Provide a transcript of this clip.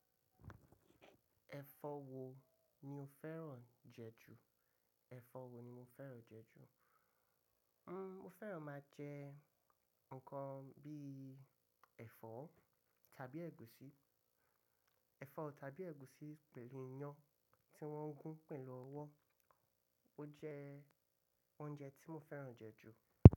Ẹ̀fọ́ wo ni o fẹ́ràn jẹ ju? Ẹ̀fọ́ wo ni mo fẹ́ràn jẹ ju? Nn, mo fẹ́ràn máa jẹ nǹkan bí i ẹ̀fọ́ tàbí ẹ̀gúsí. Ẹ̀fọ́ tàbí ẹ̀gúsí pẹ̀lú iyán tí wọ́n gún pẹ̀lú ọwọ́. Ó jẹ́ oúnjẹ tí mo fẹ́ràn jẹ ju.